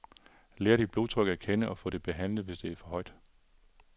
Lær dit blodtryk at kende og få det behandlet, hvis det er for højt.